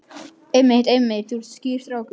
Einmitt, einmitt, þú ert skýr strákur.